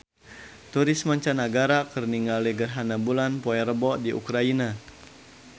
Turis mancanagara keur ningali gerhana bulan poe Rebo di Ukraina